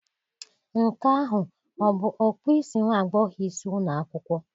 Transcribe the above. Nke ahụ a bụ okpu isi nwa agbọghọ isi ụlọ akwụkwọ?